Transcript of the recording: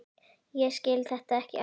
Ég skil þetta ekki alveg.